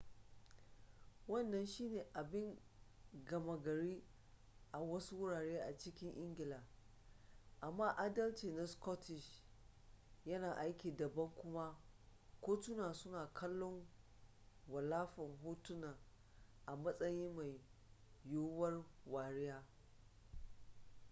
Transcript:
wannan shi ne abin gama gari a wasu wurare a cikin ingila amma adalci na scottish yana aiki daban kuma kotunan suna kallon wallafa hotunan a matsayin mai yuwuwar wariya